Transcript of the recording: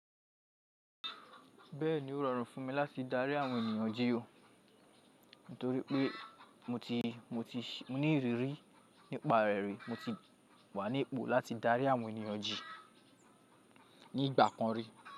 Bẹ́ẹ̀ni ó rọrùn fún mi láti dárí àwọn ènìyàn jí ó, nítorí pé mo ní ìrírí nípa rẹ̀ rí, mo ti wà ní ipò láti dárí àwọn ènìyàn jí ní ìgbà kan rí.